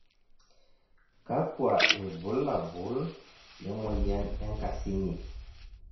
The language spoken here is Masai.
kakua irbulabol lemoyian enkasing'i?